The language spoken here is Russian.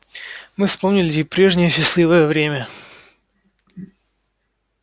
мы вспомнили и прежнее счастливое время